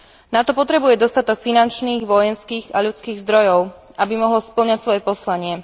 NATO potrebuje dostatok finančných, vojenských a ľudských zdrojov, aby mohlo spĺňať svoje poslanie.